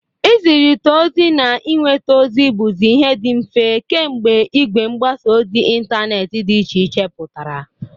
Ị zịrịta ozi na inweta ozi bụzị ihe dị mfe kemgbe igwe mgbasa ozi intaneeti dị iche iche pụtara.